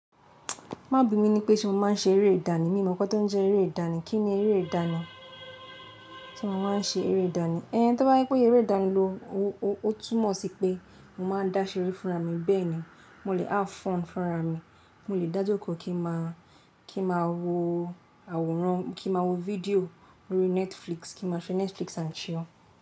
Má bí mi ní pé ṣe mo máa ń ṣe eré ìdánì. Mi mọ̀ nkan tọ́ ń jẹ́ eré ìdánì. Kí ni eré ìdánì? Ṣé mo ma ń ṣe eré ìdánì? Ẹn, tó bá je pé eré ìdánì lọ, ó túmọ̀ sí pé mo ma ń dáṣeré fúnra mi bẹ́ẹ̀ ni. Mo lè há fón fúnra mi, mo lè dá jọ kọ̀ kí ma wọ àwòrán, kí ma wo fídíò lórí Netflix, kí ma ṣe Netflix and chill.